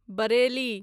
Bareilly